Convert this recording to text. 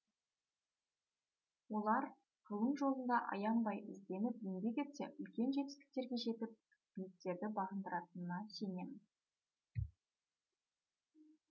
олар ғылым жолында аянбай ізденіп еңбек етсе үлкен жетістіктерге жетіп биіктерді бағындыратынына сенемін